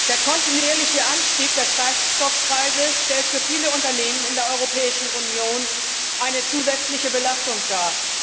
Der kontinuierliche Anstieg der Treibstoffpreise stellt für viele Unternehmen in der Europäischen Union eine zusätzliche Belastung dar.